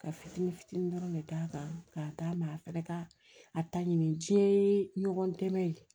Ka fitinin fitinin dɔrɔn de d'a kan k'a d'a ma a fɛnɛ ka a ta ɲini tiɲɛ yee ɲɔgɔn dɛmɛ ye